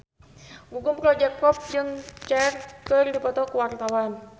Gugum Project Pop jeung Cher keur dipoto ku wartawan